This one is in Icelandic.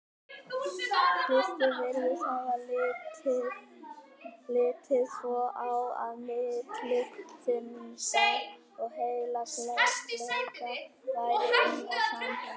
Kristur virðist hafa litið svo á, að milli syndar og heilagleika væri innra samhengi.